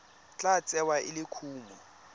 tla tsewa e le kumo